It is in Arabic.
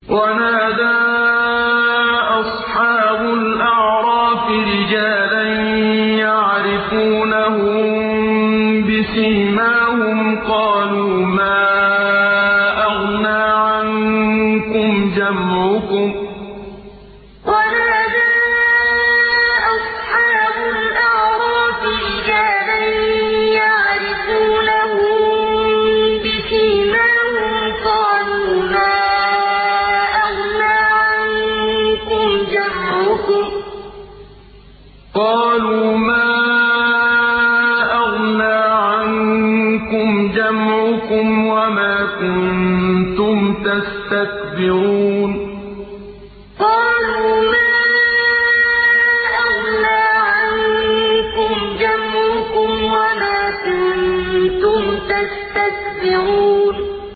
وَنَادَىٰ أَصْحَابُ الْأَعْرَافِ رِجَالًا يَعْرِفُونَهُم بِسِيمَاهُمْ قَالُوا مَا أَغْنَىٰ عَنكُمْ جَمْعُكُمْ وَمَا كُنتُمْ تَسْتَكْبِرُونَ وَنَادَىٰ أَصْحَابُ الْأَعْرَافِ رِجَالًا يَعْرِفُونَهُم بِسِيمَاهُمْ قَالُوا مَا أَغْنَىٰ عَنكُمْ جَمْعُكُمْ وَمَا كُنتُمْ تَسْتَكْبِرُونَ